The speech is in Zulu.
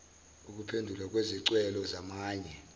ukuphendulwa kwezicelo zamanye